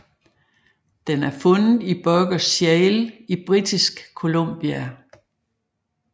Den er fundet i Burgess Shale i Britisk Columbia